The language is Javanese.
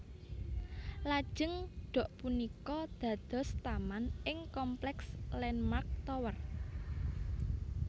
Lajeng dok punika dados taman ing kompleks Landmark Tower